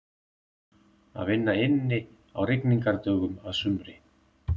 Að vinna inni á rigningardögum að sumri.